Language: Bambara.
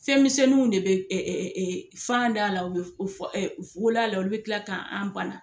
Fɛnmisɛnuw de be ɛ ɛ ɛ fan d' ala u bɛ f f f wol'a la olu de be kila k'an banna